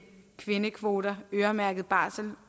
kvindekvoter øremærket barsel